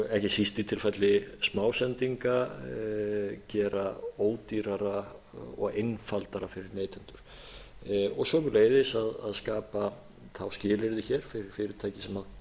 ekki síst í tilfelli smásendinga gera ódýrara og einfaldara fyrir neytendur og sömuleiðis að skapa þá skilyrði hér fyrir fyrirtæki sem